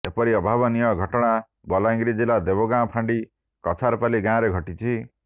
ଏପରି ଅଭାବନୀୟ ଘଟଣା ବଲାଙ୍ଗିର ଜିଲ୍ଲା ଦେଓଗାଁ ଫାଣ୍ଡି କଛାରପାଲି ଗାଁରେ ଘଟିଛି